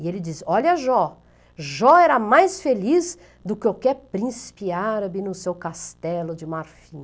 E ele dizia, olha Jó, Jó era mais feliz do que qualquer príncipe árabe no seu castelo de marfim.